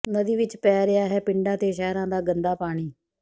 ਨਦੀ ਵਿਚ ਪੈ ਰਿਹਾ ਹੈ ਪਿੰਡਾਂ ਤੇ ਸ਼ਹਿਰਾਂ ਦਾ ਗੰਦਾ ਪਾਣੀ